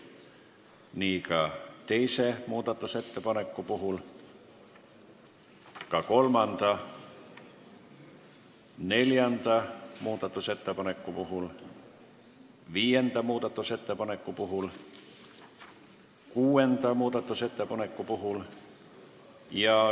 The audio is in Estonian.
Nii on ka teise muudatusettepaneku puhul, samuti kolmanda, neljanda, viienda ja kuuenda muudatusettepaneku puhul.